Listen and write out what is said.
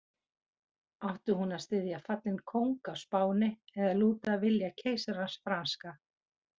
Átti hún að styðja fallinn kóng á Spáni eða lúta vilja keisarans franska?